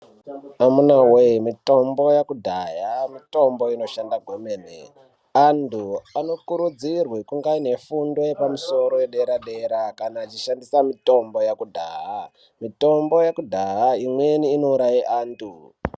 Amunawee mitombo yakudhaya mitombo inoshanda kwemene. Antu anokurudzirwe kunga aine fundo yepamusoro yadera-dera kana achishandisa mitombo yekudhaya. Mitombo yekudhaya imweni inouraya antu.